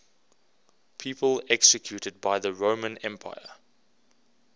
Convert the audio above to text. people executed by the roman empire